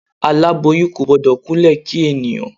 Aláboyún kò gbọ́dọ̀ kúnlẹ̀ kí ènìyàn.